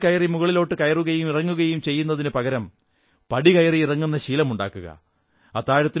കുട്ടികൾ ലിഫ്റ്റിൽ കയറി മുകളിലോട്ടു കയറുകയും ഇറങ്ങുകയും ചെയ്യുന്ന തിനു പകരം പടി കയറിഇറങ്ങുന്ന ശീലമുണ്ടാക്കുക